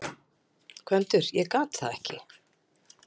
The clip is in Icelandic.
GVENDUR: Ég gat það ekki!